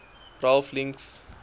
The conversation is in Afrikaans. ralph links